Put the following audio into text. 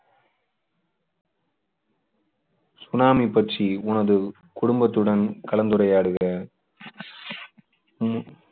tsunami பற்றி உனது குடும்பத்துடன் கலந்துரையாடுக உம்